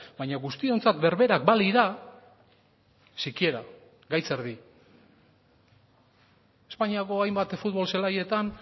baina guztiontzat berberak balira sikiera gaitz erdi espainiako hainbat futbol zelaietan